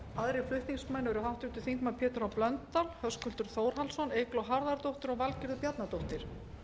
aðrir flutningsmenn eru háttvirtir þingmenn pétur h blöndal höskuldur þórhallsson eygló harðardóttir og valgerður bjarnadóttir